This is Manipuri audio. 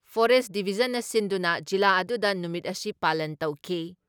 ꯐꯣꯔꯦꯁ ꯗꯤꯚꯤꯖꯟꯅ ꯁꯤꯟꯗꯨꯅ ꯖꯤꯂꯥ ꯑꯗꯨꯗ ꯅꯨꯃꯤꯠ ꯑꯁꯤ ꯄꯥꯂꯟ ꯇꯧꯈꯤ ꯫